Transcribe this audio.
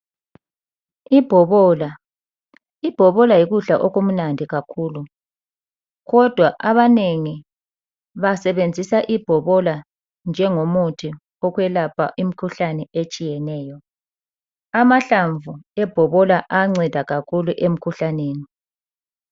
Ibhobola, ibhobola yikudla okumnandi kakhulu kodwa abanengi basebenzisa ibhobola njengomuthi wokwelapha imkhuhlane etshiyeneyo, amahlamvu ayanceda kakhulu emikhuhlaneni.